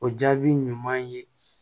O jaabi ɲuman ye